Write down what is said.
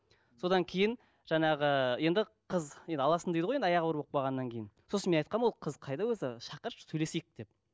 содан кейін жаңағы енді қыз енді аласың дейді ғой енді аяғы ауыр болып қалғаннан кейін сосын мен айтқанмын ол қыз қайда өзі шақыршы сөйлесейік деп